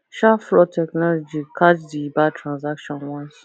sharp fraud technology catch di bad transaction once